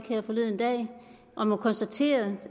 her forleden dag og må konstatere